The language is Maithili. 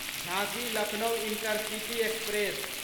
झाँसी लक्नो इंटरसिटी एक्सप्रेस